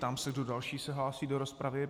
Ptám se, kdo další se hlásí do rozpravy.